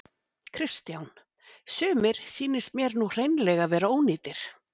Kristján: Sumir sýnist mér nú hreinlega vera ónýtir?